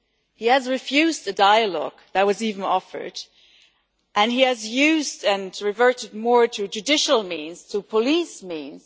He has refused the dialogue that was offered and he has used and reverted more to judicial means, to police means.